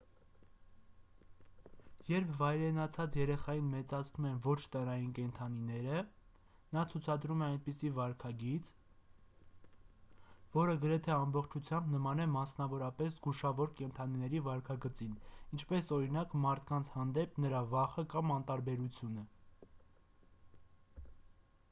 երբ վայրենացած երեխային մեծացնում են ոչ տնային կենդանինեը նա ցուցադրում է այնպիսի վարքագիծ ֆիզիկական առումով որը գրեթե ամբողջությամբ նման է մասնավորապես զգուշավոր կենդանիների վարքագծին ինչպես օրինակ մարդկանց հանդեպ նրա վախը կամ անտարբերությունը: